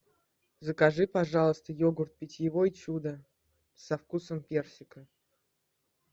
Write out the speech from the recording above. закажи пожалуйста йогурт питьевой чудо со вкусом персика